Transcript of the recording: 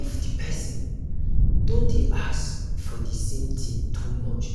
if di person don dey ask for the the same thing too much